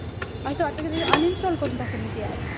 असं वाटतं कि uninstall करून टाकू, मी ती app.